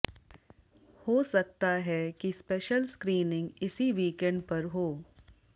हो सकता है कि स्पेशल स्क्रीनिंग इसी वीकेंड पर हो